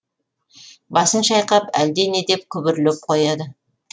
басын шайқап әлде не деп күбірлеп қояды